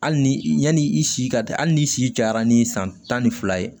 Hali ni yanni i si ka hali n'i si cayara ni san tan ni fila ye